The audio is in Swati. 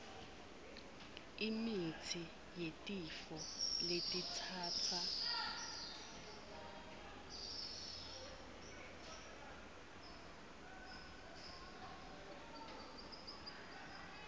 imitsi yetifo letitsatsa